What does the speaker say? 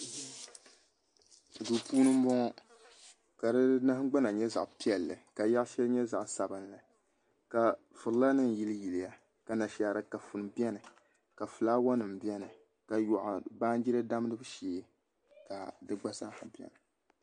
Duu puuni n bɔŋɔ ka di nahagbana nyɛ zaɣ piɛlli ka yaɣa shɛli nyɛ zaɣ sabinli ka furila nim yiliyiliya ka Anashaara kafuni biɛni ka fulaawa nim biɛni ka yoɣu baanjira damgibu shee ka di gba zaaha biɛni